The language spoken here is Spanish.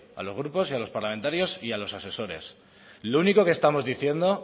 a los grupos y a los parlamentarios y a los asesores lo único que estamos diciendo